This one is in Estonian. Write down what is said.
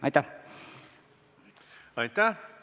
Aitäh!